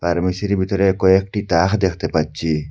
ফার্মেসির ভিতরে কয়েকটি টাহা দেখতে পাচ্ছি।